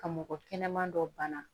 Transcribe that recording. Ka mɔgɔ kɛnɛman dɔ bana